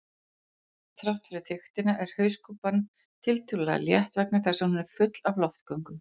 Þrátt fyrir þykktina er hauskúpan tiltölulega létt vegna þess að hún er full af loftgöngum.